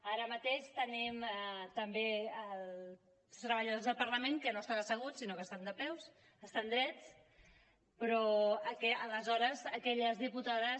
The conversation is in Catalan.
ara mateix tenim també els treballadors del parlament que no estan asseguts sinó que estan drets però aleshores aquelles diputades